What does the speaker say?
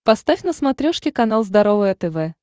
поставь на смотрешке канал здоровое тв